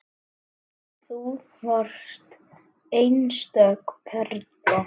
Þú varst einstök perla.